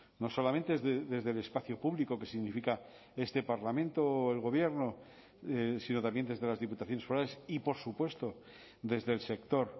no solamente desde el espacio público que significa este parlamento o el gobierno sino también desde las diputaciones forales y por supuesto desde el sector